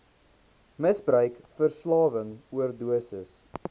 misbruik verslawing oordosis